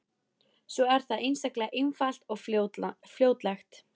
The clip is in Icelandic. Svo er það einstaklega einfalt og fljótlegt.